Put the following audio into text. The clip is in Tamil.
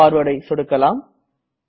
Forwardஐ சொடுக்கலாம்